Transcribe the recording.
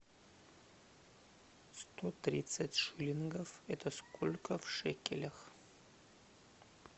сто тридцать шиллингов это сколько в шекелях